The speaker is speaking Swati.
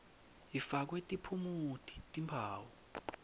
ifakwe tiphumuti timphawu